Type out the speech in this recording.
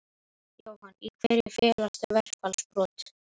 Jóhann: Í hverju felast þau verkfallsbrot?